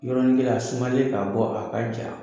Yɔrɔnin kelen a sumalen k'a bɔ a ka ja